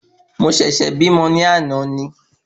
Mo sẹ̀sẹ̀ bímọ náà ni